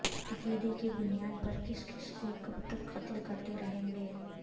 عقیدے کی بنیاد پر کس کس کو کب تک قتل کرتے رہیں گے